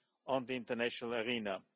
on the international arena.